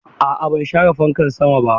A'a ban share fankan sama ba.